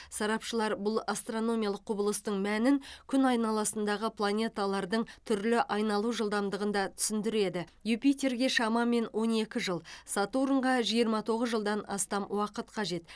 сарапшылар бұл астрономиялық құбылыстың мәнін күн айналасындағы планеталардың түрлі айналу жылдамдығында түсіндіреді юпитерге шамамен он екі жыл сатурнға жиырма тоғыз жылдан астам уақыт қажет